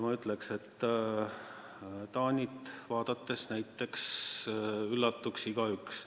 Ma ütleks, et Taani andmeid vaadates üllatuks igaüks.